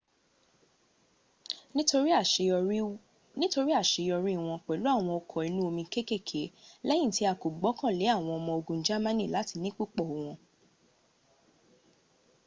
nítorí àṣeyọrí wọ́n pẹ̀lú àwọn ọkọ̀ inú omi kékèké lẹ́yìn tí a kò gbọ́kànlé àwọn ọmọ ogun germany láti ní púpọ̀ wọn